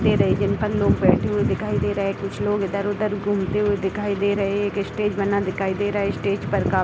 दे रही है जिन पर लोग बैठे हुए दिखाई दे रहे है कुछ लोग इधर-उधर घुमते दिखाई दे रहे हैं एक स्टेज बना दिखाई दे रहा है स्टेज पर का --